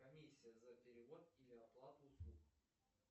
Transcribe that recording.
комиссия за перевод или оплату услуг